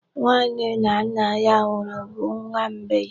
Nwa nne na nna ya nwụrụ bụ nwa mgbei